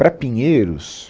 Para Pinheiros,